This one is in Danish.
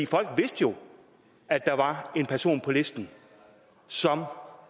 folk vidste jo at der var en person på listen som